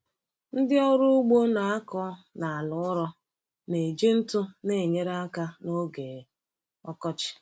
Ndị ọrụ ugbo na-akọ n’ala ụrọ na-eji ntụ na-enyere aka n’oge ọkọchị.